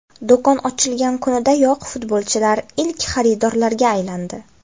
Do‘kon ochilgan kunidayoq futbolchilar ilk xaridorlarga aylandi.